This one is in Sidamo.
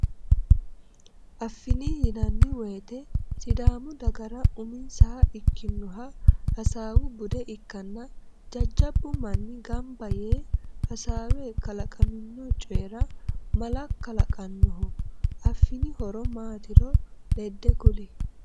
Affin yinanni woyte sidaamu dagara uminsaha ikkinnoha hasawu bude ikkanna, jajjabbu manni gaamba yee hasawe kalaqamino coyira mala kalaqannoho. Affin horo maatiro ledde kuli?